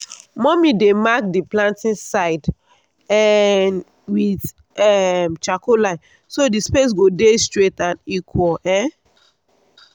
mummy dey mark the planting side um with um charcoal line so the space go dey straight and equal. um